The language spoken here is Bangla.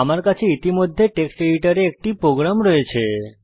আমার কাছে ইতিমধ্যে টেক্সট এডিটরে একটি প্রোগ্রাম রয়েছে